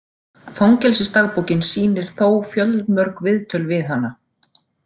Fangelsisdagbókin sýnir þó fjölmörg viðtöl við hana.